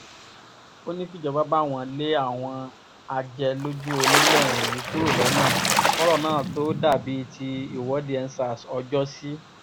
ó ní kíjọba báwọn lé àwọn ajẹlójúọ́nilẹ̀ wọ̀nyí kúrò lọ́nà kọ́rọ̀ náà tóó dà bíi ti ìwọ́de endsars ọjọ́sí